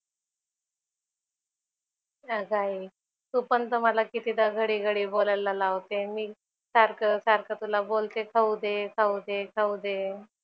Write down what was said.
अगं आई तू पण तर मला कितीदा घडी घडी बोलायला लावते आणि मी सारखं सारखं तुला बोलतेय खाऊ दे खाऊ दे खाऊ दे.